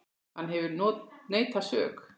Hann hefur neitað sök.